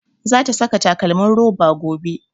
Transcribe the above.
Za ta saka takalmin roba gobe